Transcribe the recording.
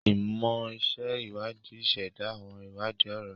Imọ ṣe iwadii iseda, awọn iwadii ọrọ.